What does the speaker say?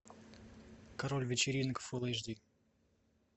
король вечеринок фул эйч ди